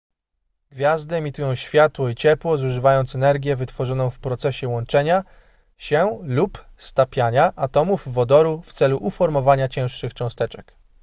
gwiazdy emitują światło i ciepło zużywając energię wytworzoną w procesie łączenia się lub stapiania atomów wodoru w celu uformowania cięższych cząsteczek